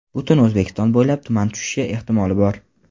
Butun O‘zbekiston bo‘ylab tuman tushishi ehtimoli bor.